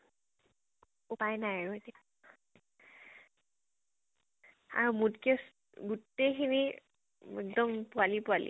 উপায় নাই আৰু । আৰু মোতকে, গোতেইখিনি একদম পোৱালী পোৱালী ।